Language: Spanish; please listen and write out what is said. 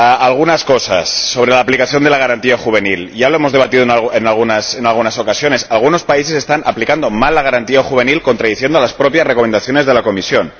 Algunas cosas sobre la aplicación de la garantía juvenil ya hemos debatido en algunas ocasiones que algunos países están aplicando mal la garantía juvenil, contradiciendo las propias recomendaciones de la Comisión.